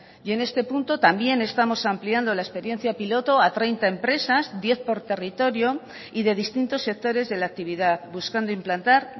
y en este punto también estamos ampliando la experiencia piloto a treinta empresas diez por territorio y de distintos sectores de la actividad buscando implantar